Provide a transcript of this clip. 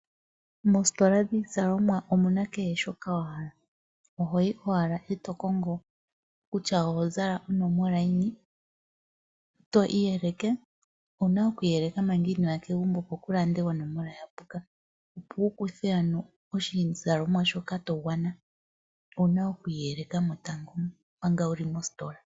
Moositola dhiizalomwa omuna kehe shoka wa hala, ohoyi owala e to kongo kutya oho zala onomola yini to iyeleke. Owuna oku iyeleka manga inoya kegumbo opo ku lande onomola ya puka. Opo wu kuthe ano oshizalomwa shoka to gwana owuna oku iyeleka mo tango, manga wuli mositola.